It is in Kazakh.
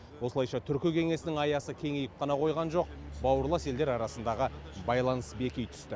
осылайша түркі кеңесінің аясы кеңейіп қана қойған жоқ бауырлас елдер арасындағы байланыс беки түсті